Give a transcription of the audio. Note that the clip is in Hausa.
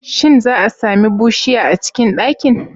Shin za'a sami bushiya a cikin ɗakin?